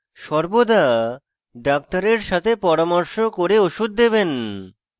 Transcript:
সর্বদা doctor সাথে পরামর্শ করে ওষুধ দেবেন